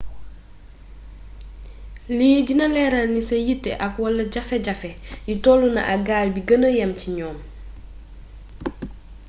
lii dina léeral ni sa yitté ak/wala jaféjafé yi tollona ak gaal gi bi gëna yam ci ñoom